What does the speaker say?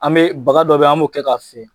An bɛ baga dɔ bɛ yen an b'o kɛ k'a fiyɛ.